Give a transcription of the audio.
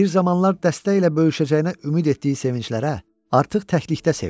Bir zamanlar dəstə ilə böyüşəcəyinə ümid etdiyi sevinclərə artıq təklikdə sevinirdi.